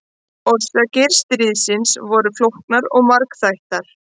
Orsakir stríðsins voru flóknar og margþættar.